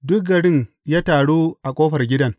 Duk garin ya taru a ƙofar gidan.